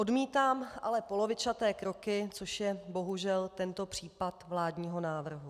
Odmítám ale polovičaté kroky, což je bohužel tento případ vládního návrhu.